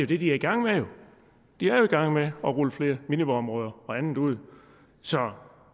det de er i gang med de er jo i gang med at rulle flere minivådområder og andet ud så